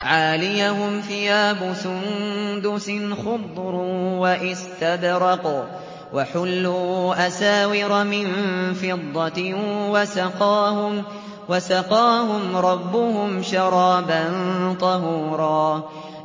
عَالِيَهُمْ ثِيَابُ سُندُسٍ خُضْرٌ وَإِسْتَبْرَقٌ ۖ وَحُلُّوا أَسَاوِرَ مِن فِضَّةٍ وَسَقَاهُمْ رَبُّهُمْ شَرَابًا طَهُورًا